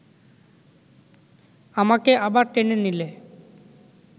আমাকে আবার টেনে নিলে